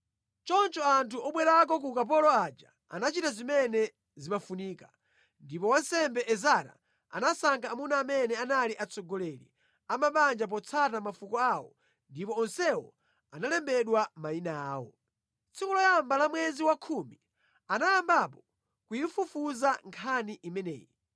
Choncho anthu obwerako ku ukapolo aja anachita zimene zimafunika. Ndipo wansembe Ezara anasankha amuna amene anali atsogoleri a mabanja potsata mafuko awo ndipo onsewo analembedwa mayina awo. Tsiku loyamba la mwezi wa khumi anayambapo kuyifufuza nkhani imeneyi.